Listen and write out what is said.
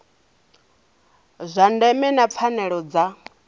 zwa ndeme na pfanelo dza